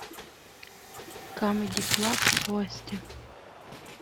камеди клаб гости